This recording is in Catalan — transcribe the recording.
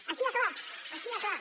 així de clar així de clar